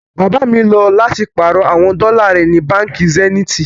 Baba mi lọ láti pàárọ̀ àwọn dọ́là rẹ ni Bánkì Zeniti